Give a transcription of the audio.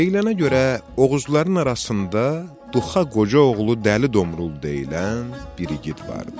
Deyilənə görə Oğuzların arasında Duxa Qoca oğlu Dəli Domrul deyilən bir igid vardı.